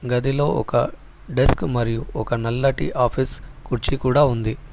గదిలో ఒక డెస్క్ మరియు ఒక నల్లటి ఆఫీస్ కుర్చీ కూడా ఉంది.